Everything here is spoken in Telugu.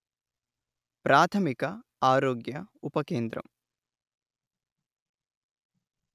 ప్రాథమిక ఆరోగ్య ఉపకేంద్రం